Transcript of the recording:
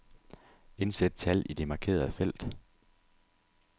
Indsæt tal i det markerede felt.